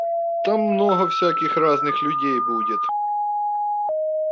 там много всяких разных людей будет